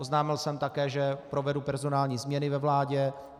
Oznámil jsem také, že provedu personální změny ve vládě.